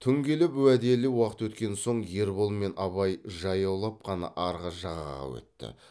түн келіп уәделі уақыт өткен соң ербол мен абай жаяулап қана арғы жағаға өтті